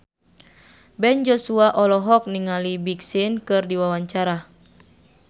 Ben Joshua olohok ningali Big Sean keur diwawancara